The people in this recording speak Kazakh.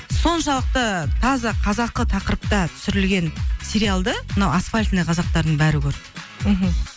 соншалықты таза қазақы тақырыпта түсірілген сериалды мынау асфальтный қазақтардың бәрі көрді мхм